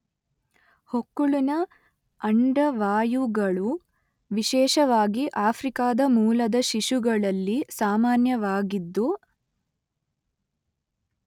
ಹೊಕ್ಕುಳಿನ ಅಂಡವಾಯುಗಳು ವಿಶೇಷವಾಗಿ ಆಫ್ರಿಕಾದ ಮೂಲದ ಶಿಶುಗಳಲ್ಲಿ ಸಾಮಾನ್ಯವಾಗಿದ್ದು